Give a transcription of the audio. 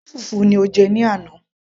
ṣe fùfú ni o jẹ ní àná